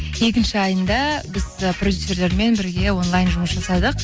екінші айында біз ы продюсерлермен бірге онлайн жұмыс жасадық